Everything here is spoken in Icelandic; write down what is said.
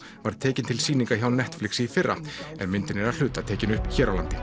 var tekin til sýninga hjá Netflix í fyrra en myndin er að hluta tekin upp hér á landi